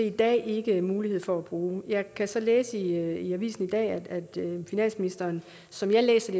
i dag ikke mulighed for at bruge jeg kan så læse i avisen i dag at at finansministeren som jeg læser